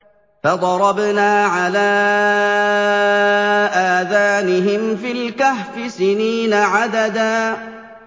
فَضَرَبْنَا عَلَىٰ آذَانِهِمْ فِي الْكَهْفِ سِنِينَ عَدَدًا